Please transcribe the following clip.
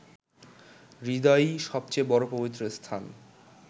হৃদয়ই সবচেয়ে বড় পবিত্র স্থান